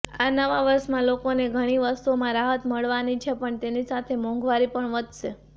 આ નવા વર્ષમાં લોકોને ઘણી વસ્તુઓમાં રાહત મળવાની છે પણ તેની સાથે મોંઘવારી પણ વધશે